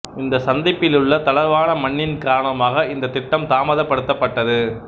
இந்த சந்திப்பிலுள்ள தளர்வான மண்ணின் காரணமாக இந்த திட்டம் தாமதப்பட்டது